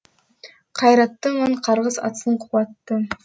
қайраттымын қарғыс атсын қуатты